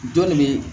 Dɔnni bɛ